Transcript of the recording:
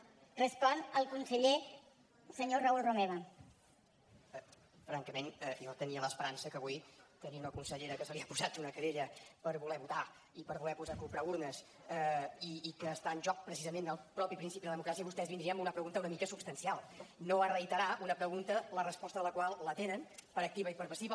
francament jo tenia l’esperança que avui tenir una consellera que se li ha posat una querella per voler votar i per voler posar o comprar urnes i que està en joc precisament el mateix principi de la democràcia vostès vindrien amb una pregunta una mica substancial no a reiterar una pregunta la resposta de la qual la tenen per activa i per passiva